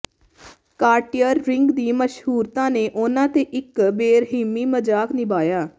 Cartier ring ਦੀ ਮਸ਼ਹੂਰਤਾ ਨੇ ਉਨ੍ਹਾਂ ਤੇ ਇੱਕ ਬੇਰਹਿਮੀ ਮਜ਼ਾਕ ਨਿਭਾਇਆ